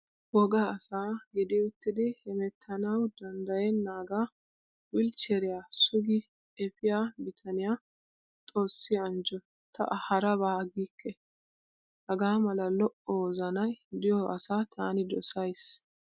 Wogga asa gidi uttidi hemettanawu danddayennaaga wolchcheriyaa sugi epiyaa bitaniyaa xoosi anjjo ta A harabaa giikke. Hgaa mala lo''o wozanayi diyoo asaa taani dosayisi.